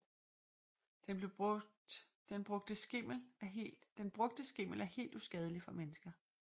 Den brugte skimmel er helt uskadelig for mennesker